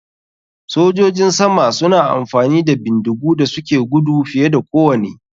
Sojojin sama suna amfani da bindigu da suke gudu fiye da kowane.